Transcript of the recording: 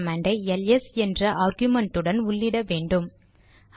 man கமாண்டை LS என்ற ஆர்குமென்ட்டுடன் உள்ளிட வேண்டும்